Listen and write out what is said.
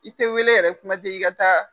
I tɛ wele yɛrɛ kuma tɛ i ka taa